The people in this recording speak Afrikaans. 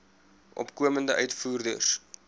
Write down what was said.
opkomende uitvoerders